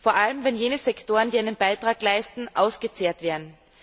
Vor allem wenn jene Sektoren, die einen Beitrag leisten, ausgezehrt werden.